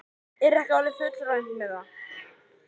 Er ekki orðið fullreynt með það?